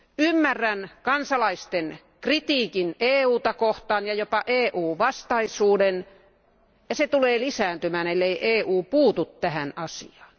Ymmärrän kansalaisten kritiikin EUta kohtaan ja jopa EU vastaisuuden ja se tulee lisääntymään, ellei EU puutu tähän asiaan.